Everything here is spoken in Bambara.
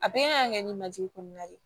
A bɛɛ kan ka kɛ ni majigin kɔnɔna ye